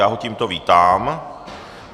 Já ho tímto vítám.